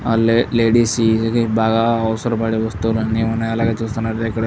ఆ లే లేడీస్ కి బాగా అవసరమైన వస్తువులన్నీ చాలా ఉన్నాయి. అలాగే చూస్తున్నట్టు అయితే ఇక్కడ --